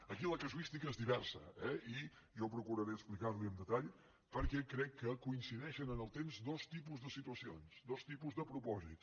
aquí la casuística és diversa eh i jo procuraré explicar li ho en detall perquè crec que coincideixen en el temps dos tipus de situacions dos tipus de propòsits